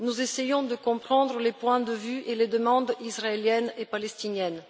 Nous essayons de comprendre les points de vue et les demandes israéliennes et palestiniennes.